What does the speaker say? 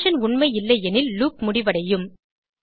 condition உண்மை இல்லையெனில் loop முடிவடையும்